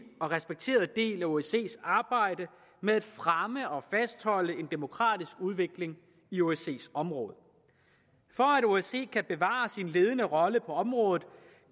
og respekteret del af osces arbejde med at fremme og fastholde en demokratisk udvikling i osces område for at osce kan bevare sin ledende rolle på området